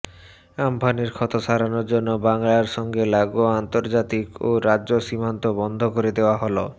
আম্ফানের ক্ষত সারানোর জন্য বাংলার সঙ্গে লাগোয়া আন্তর্জাতিক ও রাজ্য সীমান্ত বন্ধ করে দেওয়া হল